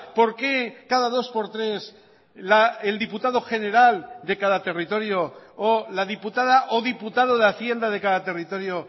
por qué cada dos por tres el diputado general de cada territorio o la diputada o diputado de hacienda de cada territorio